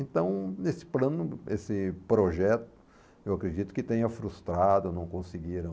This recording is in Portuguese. Então, nesse plano, nesse projeto, eu acredito que tenha frustrado, não conseguiram